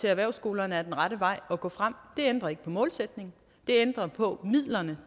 erhvervsskolerne er den rette vej at gå frem det ændrer ikke på målsætningen det ændrer på midlerne